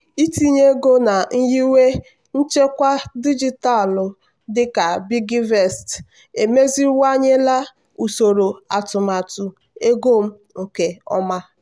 itinye ego na nyiwe nchekwa dijitalụ dịka piggyvest emeziwanyela usoro atụmatụ ego m nke ọma.